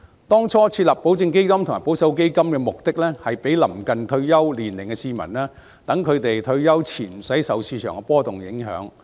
當初設立保證基金和保守基金是供臨近退休年齡的市民選擇，好讓他們退休前無需受市場的波動所影響。